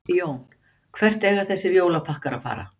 Jón: Hvert eiga þessir jólapakkar að fara?